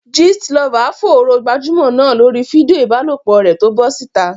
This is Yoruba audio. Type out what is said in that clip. Gist lover fòòró gbajúmọ̀ náà lórí fídíò ìbálòpọ̀ rẹ̀ tó bọ́ síta.